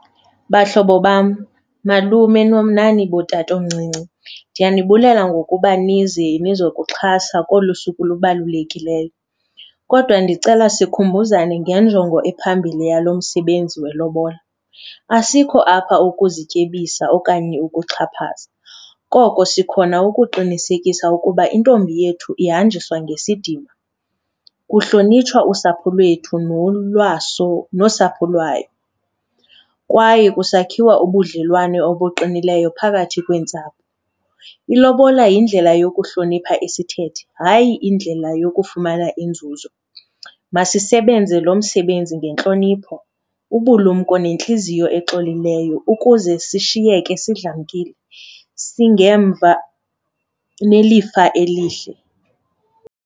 Bahlobo bam, malume nani bootatomncinci, ndiyanibulela ngokuba nize nizokuxhasa kolu suku lubalulekileyo. Kodwa ndicela sikhumbuzane ngenjongo ephambili yalo msebenzi welobola, asikho apha ukuzityebisa okanye ukuxhaphaza, koko sikhona ukuqinisekisa ukuba intombi yethu ihanjiwe ngesidima, kuhlonitshwa usapho lwethu nosapho lwayo, kwaye kusakhiwo ubudlelwane obuqinileyo phakathi kweentsapho. Ilobola yindlela yokuhlonipha isithethe, hayi indlela yokufumana inzuzo. Masisebenze lo msebenzi ngentlonipho, ubulumko nentliziyo exolileyo ukuze sishiyeke sidlamkile, singemva nelifa elihle.